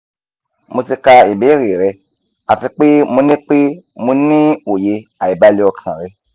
mo ti ka ibeere rẹ ati pe mo ni pe mo ni oye aibale okan rẹ